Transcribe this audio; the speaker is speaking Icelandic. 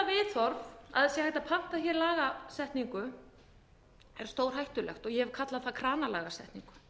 það sé hægt að panta lagasetningu er stórhættulegt og ég hef kallað það kranalagasetningu